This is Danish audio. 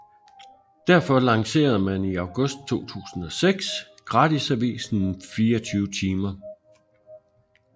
Derfor lancerede man i august 2006 gratisavisen 24timer